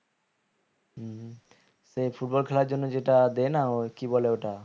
হম হম এই football খেলার জন্য যেটা দেয়না ও কি বলে ওটা